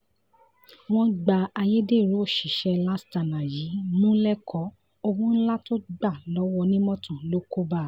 wọ́n gbá ayédèrú òṣìṣẹ́ lastana yìí mú lẹ́kọ̀ọ́ owó ńlá tó gbà lọ́wọ́ onímọ́tò ló kó bá a